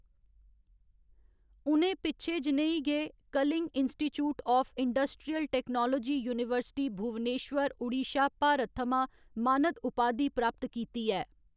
उ'नें पिच्छें जनेही गै Kalinga institute of industrial technology university, Bhubaneswar, Odisha, Bharat थमां मानद उपाधि प्राप्त कीती ऐ।